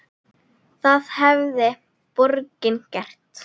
Það hefði borgin gert.